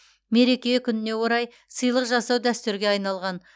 мереке күніне орай сыйлық жасау дәстүрге айналған